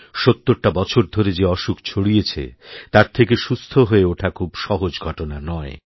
সত্তরটা বছর ধরে যে অসুখ ছড়িয়েছে তার থেকে সুস্থ হয়েওঠা খুব সহজ ঘটনা নয়